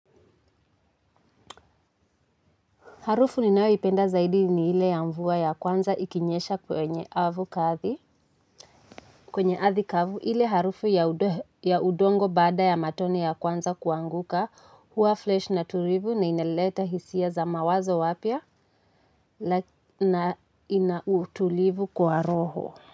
Harufu ninayoipenda zaidi ni hile ya mvua ya kwanza ikinyesha kwenye avu kathi. Kwenye arthi kavu, hile harufu ya udongo bada ya matone ya kwanza kuanguka. Huwa flesh na tulivu na inaleta hisia za mawazo wapya na inautulivu kwa roho.